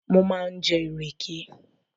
Mo máa ń jẹ ìrèké